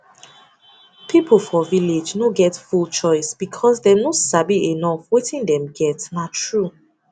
people for village no get full choice because dem no sabi enough wetin dem get na true